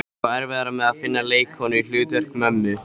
Ég á erfiðara með að finna leikkonu í hlutverk mömmu.